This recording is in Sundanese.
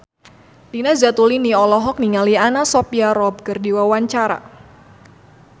Nina Zatulini olohok ningali Anna Sophia Robb keur diwawancara